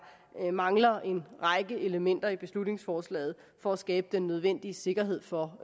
mangler en række elementer i beslutningsforslaget for at skabe den nødvendige sikkerhed for